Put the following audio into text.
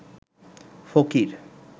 ফকির